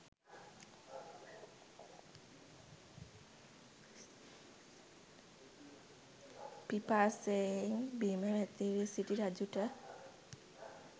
පිපාසයෙන් බිම වැතිර සිටි රජුට